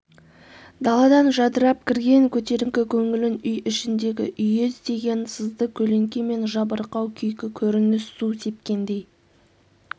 даладан жадырап кірген көтеріңкі көңілін үй ішіндегі үйездеген сызды көлеңке мен жабырқау күйкі көрініс су сепкендей